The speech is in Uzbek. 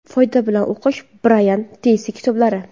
Foyda bilan o‘qish: Brayan Treysi kitoblari.